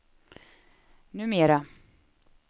numera